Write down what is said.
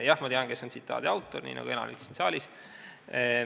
Jah, ma tean, kes on tsitaadi autor, nii nagu teab enamik siin saalis.